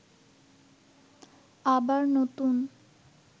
আবার নতুন